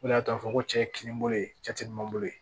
O de y'a to a fɔ ko cɛ ye kinni bolo ye cɛ tɛ dunan bolo ye